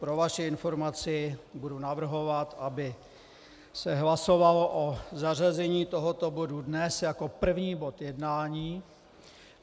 Pro vaši informaci, budu navrhovat, aby se hlasovalo o zařazení tohoto bodu dnes jako první bod jednání.